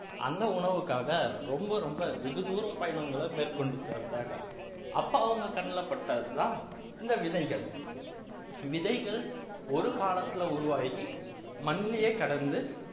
அந்த உணவுக்காக ரொம்ப ரொம்ப வெகுதூரம் பயணங்களை மேற்கொண்டுட்டு வந்தாங்க அப்ப அவங்க கண்ணுல பட்டதுதான் இந்த விதைகள் விதைகள் ஒரு காலத்துல உருவாகி மண்ணுலயே கடந்து